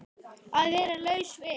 Að vera laus við